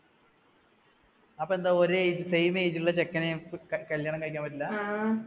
അപ്പോ എന്താ ഒരേ age, same age ലുള്ള ചെക്കനെ കല്യാണം കഴിക്കാൻ പറ്റില്ല